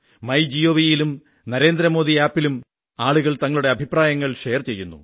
my ജിഒവിയിലും Narendra Modi mobile app ലും ആളുകൾ തങ്ങളുടെ അഭിപ്രായങ്ങൾ ഷെയർ ചെയ്യുന്നു